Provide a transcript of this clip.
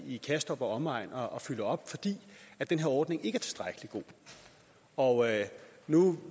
i kastrup og omegn og fylder op fordi den her ordning ikke er tilstrækkelig god og nu